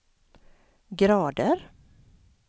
grader